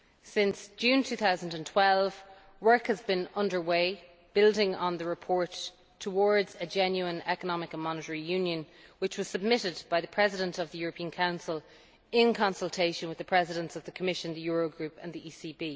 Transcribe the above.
Since June 2012, work has been underway building on the report Towards a Genuine Economic and Monetary Union' which was submitted by the President of the European Council in consultation with the Presidents of the Commission, the Eurogroup and the ECB.